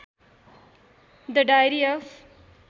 the diary of